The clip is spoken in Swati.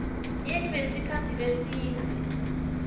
yetfu yesikhatsi lesidze